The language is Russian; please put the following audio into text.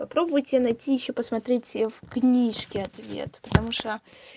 попробуйте найти ещё посмотреть в книжке ответ потому что